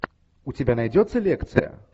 у тебя найдется лекция